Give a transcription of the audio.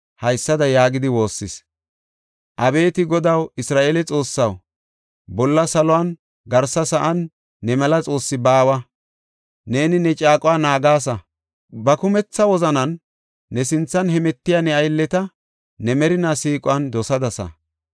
haysada yaagidi woossis; “Abeeti Godaw, Isra7eele Xoossaw, bolla saluwan garsa sa7an ne mela xoossi baawa. Neeni ne caaquwa naagasa. Ba kumetha wozanan ne sinthan hemetiya ne aylleta ne merinaa siiquwan dosadasa.